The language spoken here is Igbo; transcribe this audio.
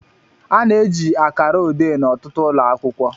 A na-eji akara ode n'ọtụtụ ụlọ akwụkwọ